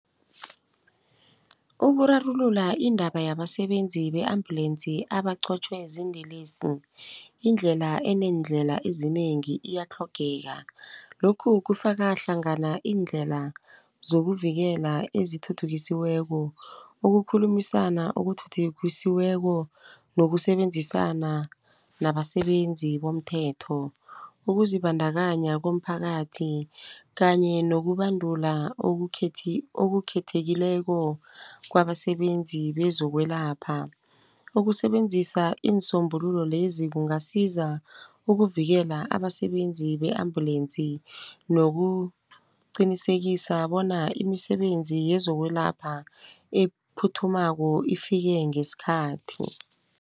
Ukurarulula iindaba yabasebenzi be-ambulensi abaqotjhwe ziinlelesi. Indlela eneneendlela ezinengi iyatlhogeka. Lokhu kufakahlangana iindlela zokuvikela ezithuthukisiweko. Ukukhulumisana okuthuthukisiweko nokusebenzisana nabasebenzi bomthetho. Ukuzibandakanya komphakathi kanye nokubandula okukhethekileko kwabasebenzi bezokwelapha. Ukusebenzisa iinsombululo lezi kungasiza ukuvikela abasebenzi be-ambulensi nokuqinisekisa bona imisebenzi yezokwelapha ephuthumako ifike ngesikhathi.